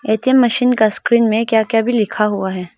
ATM machine का स्क्रीन में क्या क्या भी लिखा हुआ है।